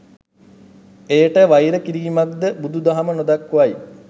එයට වෛර කිරීමක්ද බුදු දහම නොදක්වයි.